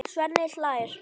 Svenni hlær.